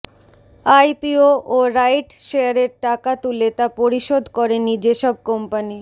IPO ও right শেয়ারের টাকা তুলে তা পরিশোধ করেনি যেসব কোম্পানি